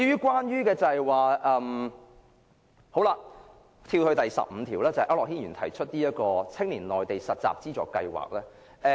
讓我跳至由區諾軒議員提出的修正案編號 15， 有關"青年內地實習資助計劃"。